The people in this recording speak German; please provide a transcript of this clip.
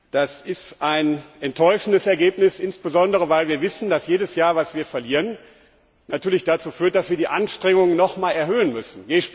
Das ist ein enttäuschendes Ergebnis, insbesondere weil wir wissen, dass jedes Jahr, das wir verlieren, natürlich dazu führt, dass wir die Anstrengungen nochmals erhöhen müssen.